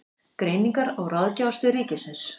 Greiningar- og ráðgjafarstöð ríkisins.